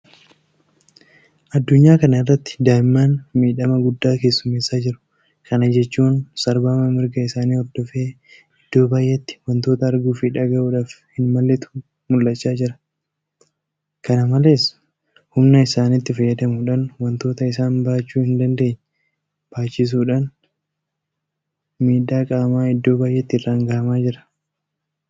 Addunyaa kana irratti daa'imman miidhama guddaa keessummeessaa jiru. Kana jechuun sarbama mirga isaanii hordofee iddoo baay'eetti waantota arguufi dhagahuudhaaf hin malletu mul'achaa oola. Kana malees humna isaaniitti fayyadamuudhaaf waantota isaan baachuu hindandeenye baachisuudhaan miidhaa qaamaa iddoo baay'eetti irraan gahamaa jira.